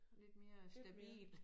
Lidt mere stabil